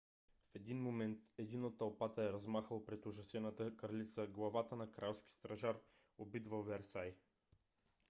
в един момент един от тълпата е размахал пред ужасената кралица главата на кралски стражар убит във версай